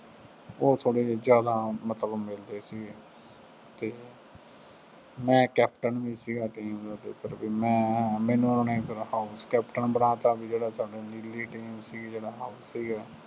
ਉਹ ਥੋੜ੍ਹੇ ਜਿਹੇ ਜ਼ਿਆਦਾ ਮਤਲਬ ਮਿਲਦੇ ਸੀ ਅਤੇ ਮੈਂ ਕੈਪਟਨ ਵੀ ਸੀਗਾ game ਦਾ ਕੁਦਰਤੀ, ਮੈਂ ਮੈਨੂੰ ਉਹਨਾ ਨੇ ਜਦੋਂ house ਕੈਪਟਨ ਬਣਾਤਾ ਬਈ ਜਿਹੜਾ ਸਾਡਾ ਮਿਲੀ ਹੋਈ game ਸੀਗੀ, ਜਿਹੜਾ house ਸੀਗਾ